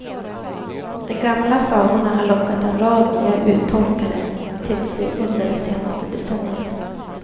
De gamla sagorna har lockat en rad nya uttolkare till sig under det senaste decenniet.